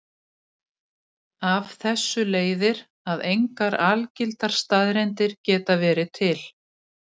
Af þessu leiðir að engar algildar staðreyndir geta verið til.